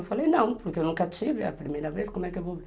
Eu falei, não, porque eu nunca tive a primeira vez, como é que eu vou